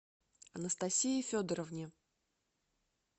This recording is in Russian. анастасии федоровне